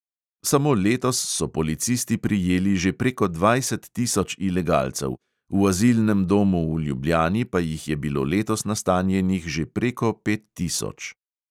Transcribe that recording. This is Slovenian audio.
Samo letos so policisti prijeli že preko dvajset tisoč ilegalcev, v azilnem domu v ljubljani pa jih je bilo letos nastanjenih že preko pet tisoč.